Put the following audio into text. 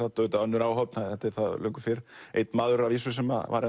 auðvitað önnur áhöfn þetta er það löngu fyrr einn maður að vísu sem var